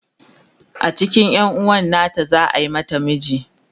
a cikin yanuwan nata za'a mata miji